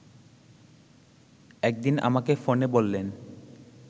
একদিন আমাকে ফোনে বললেন